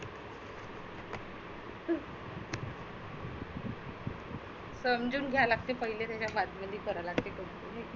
समजुन घ्यावा लागते पाहिले त्याच्या बादमधी करा लागते.